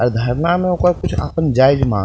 आ धरणा में ओकर अपन कुछ जायज मांग --